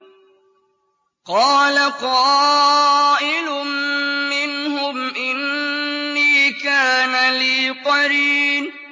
قَالَ قَائِلٌ مِّنْهُمْ إِنِّي كَانَ لِي قَرِينٌ